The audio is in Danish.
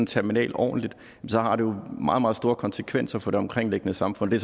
terminal ordentligt så har det jo meget meget store konsekvenser for det omkringliggende samfund det